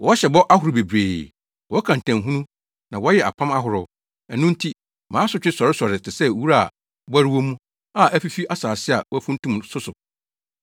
Wɔhyɛ bɔ ahorow bebree, wɔka ntamhunu na wɔyɛ apam ahorow; ɛno nti mansotwe sɔresɔre te sɛ wura a bɔre wɔ mu a afifi asase a wɔafuntum so so.